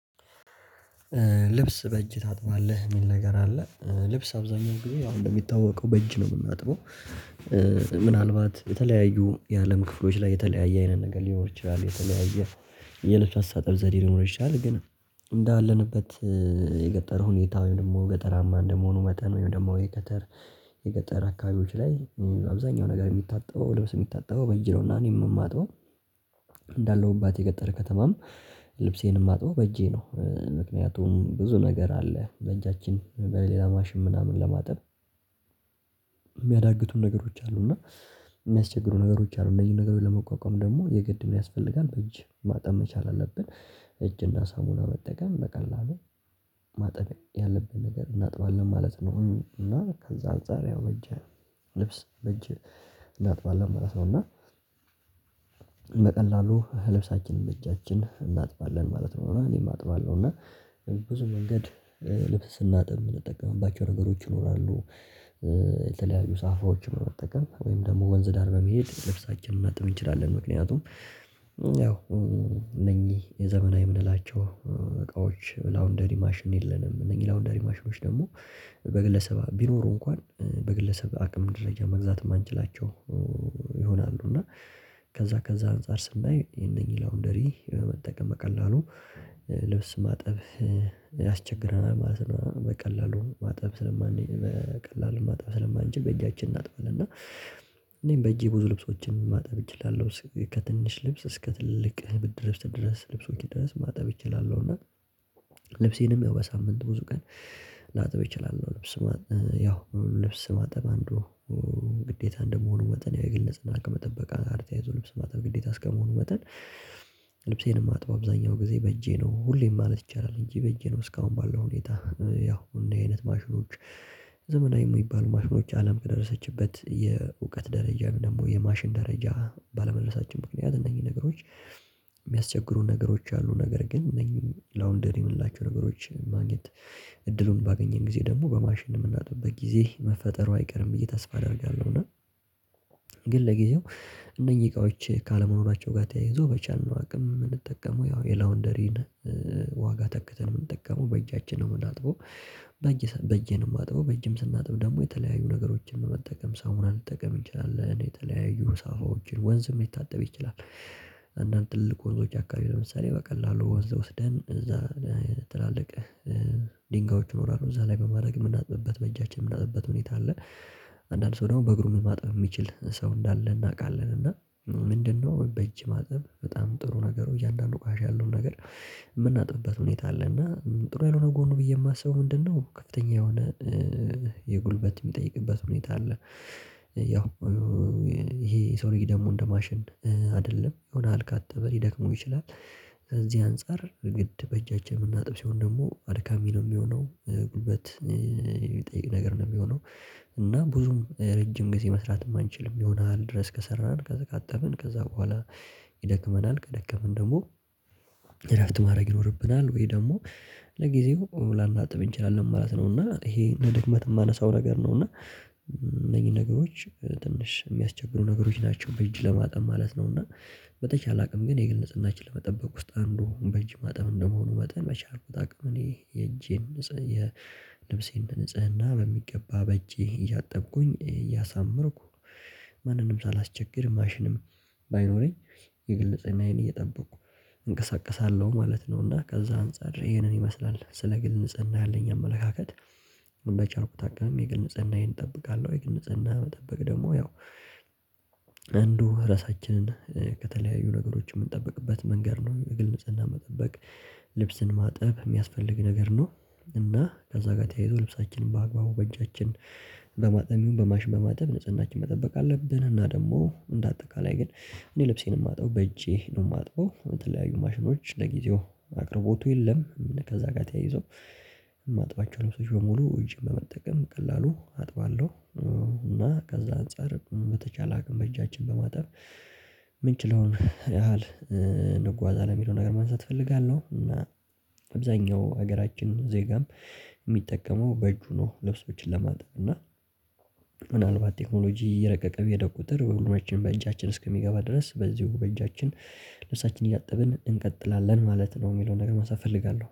ልብስ በእጅ ታጥባለህ የሚል ነገር አለ ልብስ አብዛኛው ጊዜ አሁን እንደሚታወቀው በእጅ ነው የምናጥበው። ምናልባት የተለያዩ የአለም ክፍሎች ላይ የተለያየ አይነት ነገር ሊኖር ይችላል። የልብስ አስተጣጠብ ዘዴ ሊኖር ይችላል ግን እንዳለንበት የገጠር ሁኔታ ወይም ደግሞ ገጠራማ እንደመሆኑ መጠን ወይም ደግሞ የገጠር አካባቢዎች ላይ አብዛኛው ነገር የሚታጠበው ልብስ የሚታጠበው በጅ ነውና እኔም የማጣው። እንዳለሁባት የገጠር ከተማም ልብሴንም የማጥበው በእጄ ነው ምክንያቱም ብዙ ነገር አለ በእጃችን በሌላ ማሽን ምናምን ለማጥብ የሚያዳግቱን ነገሮች አሉ እና የሚያስቸግሩ ነገሮች አሉ እነዚህን ነገሮች ለመቋቋም ደግሞ የግድ ምን ያስፈልጋል በእጅ ማጠብ መቻል አለብን። እጅና ሳሙና መጠቀም በቀላሉ ማጠብ ያለብን ነገር እናጥባለን ማለት ነው እና ከዛ አንፃር ያው በጅ ልብስ በጅ እናጥባለን ማለት ነው። እና በቀላሉ ልብሳችንን እጃችን እናጥባለን ማለት ነው እኔም አጥባለሁ እና ብዙ መንገድ ልብስ ስናጥብም የምንጠቀምባቸው ነገሮች ይኖራሉ። የተለያዩ ሳፋዎችን በመጠቀም ወይም ደግሞ ወንዝ ዳር በመሄድ ልብሳችንን ልናጥብ እንችላለን። ምክንያቱም ያው እነኚህ የዘመናዊ የምንላቸው እቃዎች ላውንደሪ ማሽን የለንም እነኚህ ላውንደሪ ማሽኖች ደግሞ በግለሰብ ቢኖሩ እንኳን በግለሰብ አቅም ደረጃ መግዛት የማንችላቸው። ይሆናሉ እና ከዛ ከዛ አንፃር ስናይ የነኚህ ላውንደሪ በመጠቀም በቀላሉ ልብስ ማጠብ ያስቸግረናል ማለት ነው። በቀላሉ ማጠብ ስለማን በቀላሉ ማጠብ ስለማንችል በእጃችን እናጥባለን እና እኔም በእጄ ብዙ ልብሶችን ማጠብ እችላለሁ ከትንሽ ልብስ እስከ ትልልቅ ብርድልብስ ድረስ ልብሶች ድረስ ማጠብ እችላለሁ። እና ልብሴንም በሳምንት ብዙ ቀን ላጥብ እችላለሁ ልብስ ያው ልብስ ማጠብ አንዱ ግዴታ እንደመሆኑ መጠን ያው የግል ንጽህና ከመጠበቅ ጋር ልብስ ማጥበብ ግዴታ እስከመሆኑ መጠን። ልብሴንም ማጥበው አብዛኛው ጊዜ በእጄ ነው ሁሌም ማለት ይቻላል እንጂ በእጄ ነው እስካሁን ባለው ሁኔታ ያው እንደዚህ አይነት ማሽኖች ዘመናዊ የሚባሉ ማሽኖች አለም ከደረሰችበት የእውቀት ደረጃ ደግሞ የማሽን ደረጃ ባለመድረሳችን ምክንያት እነኚህ ነገሮች የሚያስቸግሩን ነገሮች አሉ። ነገር ግን እነዚህን ላውንደሪ የምንላቸው ነገሮችን ማግኘት እድሉን ባገኘን ጊዜ ደግሞ በማሽን የምናጠብበት ጊዜ መፈጠሩ አይቀርም ብዬ ተስፋ አደርጋለሁ። እና ግን ለጊዜው እነኚህ እቃዎች ካለመኖራቸው ጋር ተያይዞ በቻልነው አቅም የምንጠቀመው ያው የላውንደሪን ዋጋ ተክተን የምንጠቀመው በእጃችን ነው የምናጥበው። በእጄ ነው የማጥበው በእጅም ስናጥብ ደግሞ የተለያዩ ነገሮችን በመጠቀም ሳሙና ልጠቀም እንችላለን የተለያዩ ሳፋዎችን ወንዝም ሊታጠብ ይችላል። አንዳንድ ትልቅ ወንዞች አካባቢ ለምሳሌ በቀላሉ ወንዝ ወስደን እዛ ትላልቅ ድንጋዮች ይኖራሉ እዛ ላይ በማድረግ የምናጥብበት በእጃችን የምናጥብበት ሁኔታ አለ። አንዳንድ ሰው ደግሞ በእግሩ ምን ማጥፍ የሚችል ሰው እንዳለ እናውቃለን። እና ምንድነው በእጅ ማጠብ በጣም ጥሩ ነገሩ እያንዳንዱ ቆሻሻ ያለውን ነገር የምናጥብበት ሁኔታ አለ እና ጥሩ ያልሆነ ጎኑ ብዬ የማስበው ምንድነው? ከፍተኛ የሆነ የጉልበት የሚጠይቅበት ሁኔታ አለ ያው ይሄ የሰው ልጅ ደግሞ እንደ ማሽን አይደለም የሆነ ያክል ካጠበ ሊደክሙው ይችላሉ ከዚህ አንፃር ግድ በእጃችን የምናጥብ ሲሆን ደግሞ አድካሚ ነው የሚሆነው ጉልበት የሚጠይቅ ነገር ነው የሚሆነው። እና ብዙም ረጅም ጊዜ መስራት የማንችልም ይሆናል ድረስ ከሰራን ካዛ ካጠብን ከዛ በኋላ ይደክመናል ከደከመን ደግሞ እረፍት ማድረግ ይኖርብናል ወይ ደግሞ ለጊዜው ላናጥብ እንችላለን ማለት ነው። እና ይሄ እንደ ድክመት የማነሳው ነገር ነው እና እነኚህን ነገሮች ትንሽ የሚያስቸግሩ ነገሮች ናቸው በእጅ ለማጠብ ማለት ነው። እና በተቻለ አቅም ግን የግል ንጽህናችንን ለመጠበቅ ውስጥ አንዱ በእጅ ማጠብ እንደመሆኑ መጠን በቻልነው አቅም እኔ የእጄን ንጽህ የልብሴን ንጽህና በሚገባ በእጄ እያጠብኩኝ እያሳመርኩ ማንንም ሳላስቸግር ማሽንም ባይኖረኝ የግልንፅህናየን እየጠበቁ እንቀሳቀሳለሁ ማለት ነው። እና ከዛ አንፃር ይሄንን ይመስላል ስለ ግል ንጽህና ያለኝ አመለካከት በቻልኩት አቅም የግል ንጽህናየን እጠብቃለሁ። የግን ንጽህና መጠበቅ ደግሞ ያው አንዱ ራሳችንን ከተለያዩ ነገሮች የምንጠብቅበት መንገድ ነው የግል ንጽህናን መጠበቅ ልብስን ማጠብ የሚያስፈልግ ነገር ነው። እና ከዛ ጋር ተያይዞ ልብሳችንን በአግባቡ በእጃችን በማጠብ በማሽ በማጠብ ንጽህናችንን መጠበቅ አለብን። እና ደግሞ እንደ አጠቃላይ ግን እኔ ልብሴን የማጥበው በእጄ ነው የማጥበው የተለያዩ ማሽኖች ለጊዜው አቅርቦቱ የለም ከዛ ጋር ተያይዞ ማጥባቸው ልብሶች በሙሉ እጅ በመጠቀም በቀላሉ አጥባለሁ። እና ከዛ አንፃር በተቻለ አቅም በእጃችን በማጠብ የምንችለውን ያህል እንጓዛለን የሚለው ነገር ማንሳት እፈልጋለሁ። እና አብዛኛው ሀገራችን ዜጋም የሚጠቀመው በእጁ ነው ልብሶችን ለማጥፋት እና ምናልባት ቴክኖሎጂ የረቀቀ በሄደ ቁጥር ሁሉማችንም በእጃችን እስከሚገባ ድረስ በዚሁ በእጃችን ልብሳችንን እያጠብን እንቀጥላለን ማለት ነው። የሚለውን ነገር ማንሳት እፈልጋለሁ